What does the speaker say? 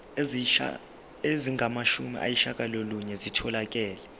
ezingamashumi ayishiyagalolunye zitholakele